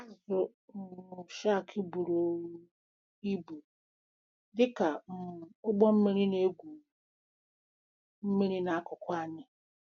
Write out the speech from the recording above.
Azụ um shark buru um ibu dị ka um ụgbọ mmiri na-egwu mmiri n'akụkụ anyị!